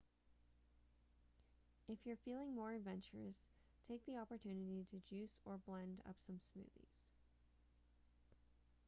if you're feeling more adventurous take the opportunity to juice or blend up some smoothies